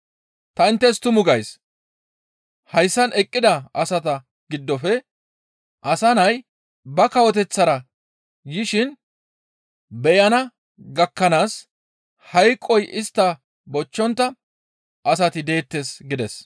Ta inttes tumu gays; hayssan eqqida asata giddofe Asa Nay ba kawoteththara yishin beyana gakkanaas hayqoy istta bochchontta asati deettes» gides.